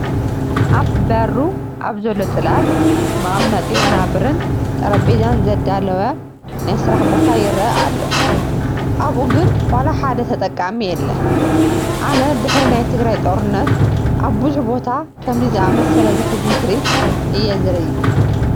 ኣብ በሩ ኣብ ዘሎ ፅላል ወቐመጢ ወናብርን ጠረጴዛን ዘዳለወ ናይ ስራሕ ቦታ ይርአ ኣሎ፡፡ ኣብኡ ግን ዋላ ሓደ ተጠቓሚ የለን፡፡ ኣነ ድሕሪ ናይ ትግራይ ጦርነት ኣብ ብዙሕ ቦታ ከምዚ ዝኣመሰለ ዘሕዝን ትርኢት እየ ዝርኢ፡፡